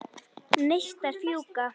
Neistar fjúka.